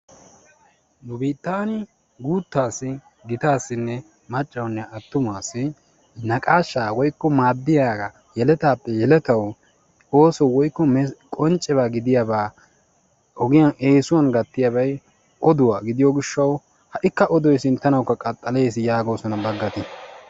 Nu biittan guutta asi giita asi maccawunne attumaasi naqaashshaa woykko maaddiyaa yelettaappe yeletawu ooso woykko qonccebaa gidiyaabaa ogiyaan essuwaan gattiyaabay oduwaa gidiyoo giishshawu ha'ikka odoy sinttanawukka qaxalees goosona baaggati.